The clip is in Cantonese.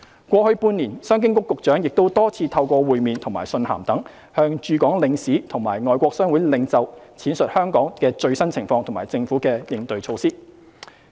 過去半年，商經局局長亦多次透過會面和信函等，向駐港領事和外國商會領袖闡述香港的最新情況和政府的應對措施。